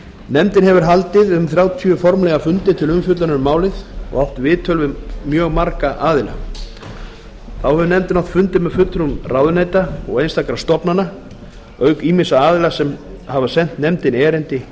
nefndin hefur haldið þrjátíu formlega fundi til umfjöllunar um frumvarpið og átt viðtöl við mjög marga aðila þá hefur nefndin átt fundi með fulltrúum ráðuneyta og einstakra stofnana auk ýmissa aðila sem hafa sent nefndinni erindi